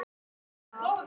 Þeim var heitt í hamsi.